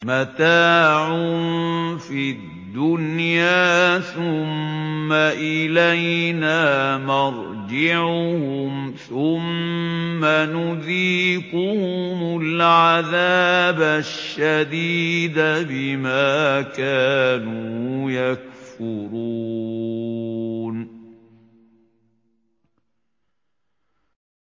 مَتَاعٌ فِي الدُّنْيَا ثُمَّ إِلَيْنَا مَرْجِعُهُمْ ثُمَّ نُذِيقُهُمُ الْعَذَابَ الشَّدِيدَ بِمَا كَانُوا يَكْفُرُونَ